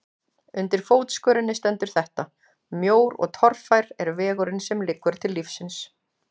Undir fótskörinni stendur þetta: Mjór og torfær er vegurinn sem liggur til lífsins.